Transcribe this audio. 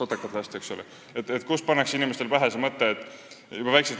Inimestele pannakse see mõte juba väiksest peast, maast madalast, pähe.